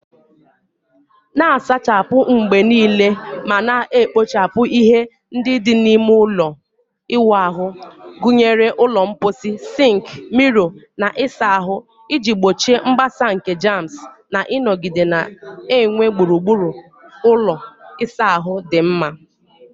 Na-asachapụ mgbe niile ma na-ekpochapụ ihe ndị dị n'ime ime ụlọ ịwụ ahụ, gụnyere ụlọ mposi, sink, mirror, na ịsa ahụ, iji gbochie mgbasa nke germs na ịnọgide na-enwe gburugburu ụlọ ịsa ahụ dị mma.